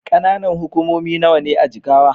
Ƙananan hukumomi nawa ne a Jigawa?